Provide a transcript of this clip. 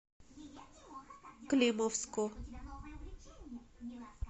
климовску